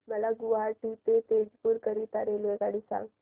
मला गुवाहाटी ते तेजपुर करीता रेल्वेगाडी सांगा